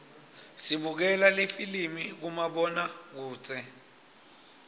sibukela lifilimi kumabonakudze